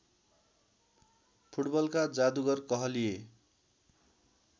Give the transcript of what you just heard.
फुटबलका जादुगर कहलिए